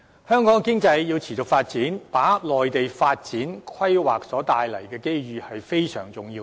香港經濟要持續發展，就要掌握內地發展和規劃帶來的機遇，這是非常重要的。